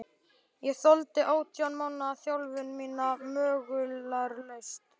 Ég þoldi átján mánaða þjálfun mína möglunarlaust.